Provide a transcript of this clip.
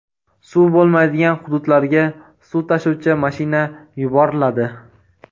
Suv bo‘lmaydigan hududlarga suv tashuvchi mashina yuboriladi.